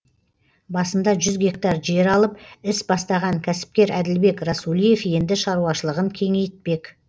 басында жүз гектар жер алып іс бастаған кәсіпкер әділбек расулиев енді шаруашылығын кеңейтпек